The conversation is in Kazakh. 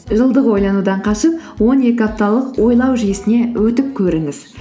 жылдық ойланудан қашып он екі апталық ойлау жүйесіне өтіп көріңіз